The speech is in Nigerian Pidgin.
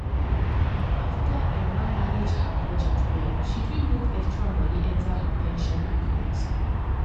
after emma manage her budget well she fit move extra money enter her pension account